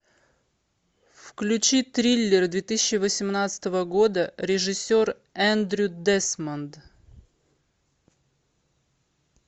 включи триллер две тысячи восемнадцатого года режиссер эндрю десмонд